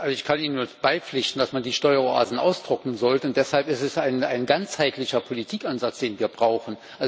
Ich kann Ihnen nur beipflichten, dass man die Steueroasen austrocknen sollte und deshalb ist es ein ganzheitlicher Politikansatz, den wir brauchen.